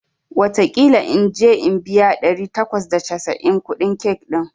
wataƙila in je in biya ɗari takwas da casa'in kuɗin cake ɗin